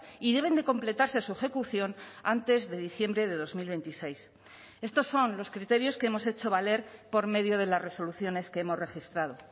y deben de completarse su ejecución antes de diciembre de dos mil veintiséis estos son los criterios que hemos hecho valer por medio de las resoluciones que hemos registrado